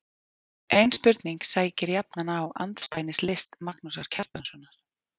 Ein spurning sækir jafnan á andspænis list Magnúsar Kjartanssonar